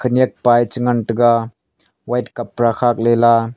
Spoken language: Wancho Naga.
yakpa e che ngan tega white kapra khak le la.